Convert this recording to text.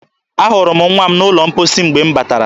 Ahụrụ m nwa m n'ụlọ mposi mgbe m batara